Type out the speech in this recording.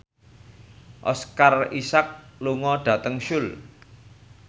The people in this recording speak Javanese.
Oscar Isaac lunga dhateng Seoul